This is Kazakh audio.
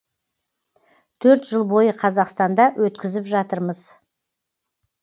төрт жыл бойы қазақстанда өткізіп жатырмыз